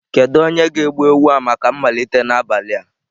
Kedu onye ga-egbu ewu a maka mmalite n'abalị a?